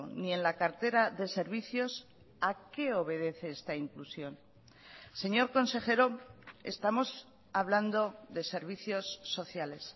ni en la cartera de servicios a qué obedece esta inclusión señor consejero estamos hablando de servicios sociales